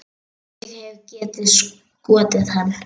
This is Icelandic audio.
Ég hefði getað skotið hann.